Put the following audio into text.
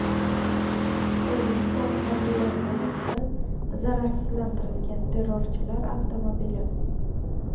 Tojikiston harbiylari tomonidan zararsizlantirilgan terrorchilar avtomobili.